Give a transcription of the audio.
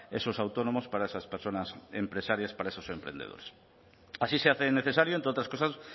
esos autónomos para esas personas empresarias para esos emprendedores así se hace necesario entre otras cosas